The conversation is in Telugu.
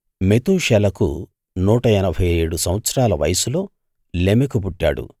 మెతూషెలకు నూట ఎనభై ఏడు సంవత్సరాల వయస్సులో లెమెకు పుట్టాడు